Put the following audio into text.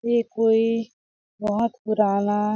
यह कोई बहोत पुराना--